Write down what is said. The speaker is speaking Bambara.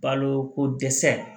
Baloko dɛsɛ